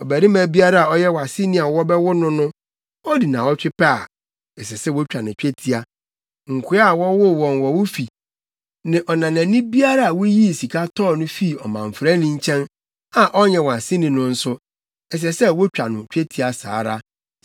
Ɔbarima biara a ɔyɛ wʼaseni a wɔbɛwo no no, odi nnaawɔtwe pɛ a, ɛsɛ sɛ wotwa no twetia. Nkoa a wɔwoo wɔn wɔ wo fi ne ɔnanani biara a wuyii sika tɔɔ no fii ɔmamfrani nkyɛn a ɔnyɛ wʼaseni no nso, ɛsɛ sɛ wotwa no twetia saa ara.